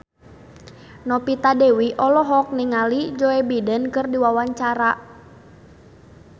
Novita Dewi olohok ningali Joe Biden keur diwawancara